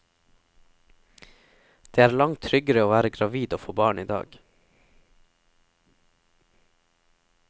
Det er langt tryggere å være gravid og få barn i dag.